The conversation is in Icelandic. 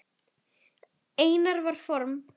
Einar var form.